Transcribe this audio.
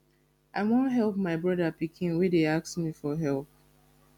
i wan help my broda pikin wey dey ask me for help